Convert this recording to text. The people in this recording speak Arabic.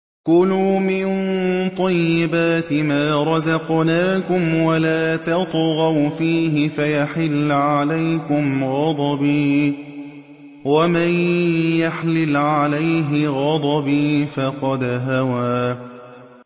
كُلُوا مِن طَيِّبَاتِ مَا رَزَقْنَاكُمْ وَلَا تَطْغَوْا فِيهِ فَيَحِلَّ عَلَيْكُمْ غَضَبِي ۖ وَمَن يَحْلِلْ عَلَيْهِ غَضَبِي فَقَدْ هَوَىٰ